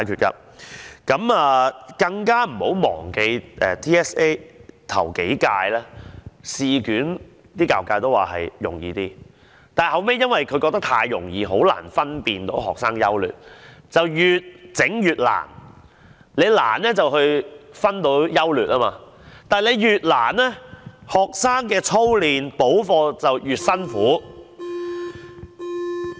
大家更別忘記，教育界認為頭幾屆 TSA 的試卷比較容易，但後來因為太容易了，以致難以分辨學生優劣，於是便越出越難，考題越難便可以分出優劣，但考題越難便令到學生的操練和補課越辛苦。